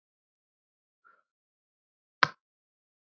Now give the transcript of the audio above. Elsku Almar Hrafn.